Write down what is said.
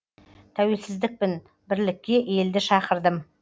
тәуелсіздікпін бірлікке елді шақырдым